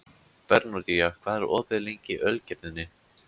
Bernódía, hvað er opið lengi í Ölgerðinni?